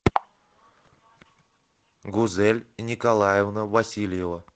гузель николаевна васильева